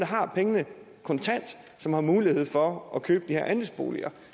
har pengene kontant som har mulighed for at købe de her andelsboliger